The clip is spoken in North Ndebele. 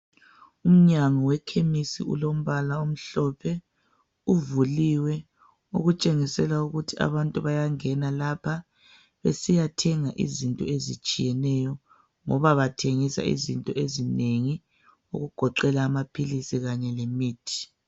Umnyango wekhemisi ilombala omhlophe uvuliwe okutshengisela ukuthi abantu bayangena lapha besiyathenga izinto ezitshiyeneyo ngoba bathengisa izinto ezinengi okugoqela amaphilisi Kanye lemithi